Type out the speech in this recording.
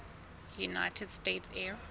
united states air